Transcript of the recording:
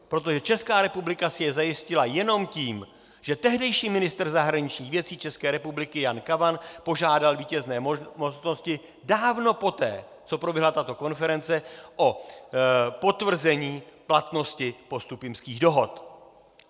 Protože Česká republika si je zajistila jenom tím, že tehdejší ministr zahraničních věcí České republiky Jan Kavan požádal vítězné mocnosti dávno poté, co proběhla tato konference, o potvrzení platnosti Postupimských dohod.